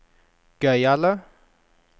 gøyale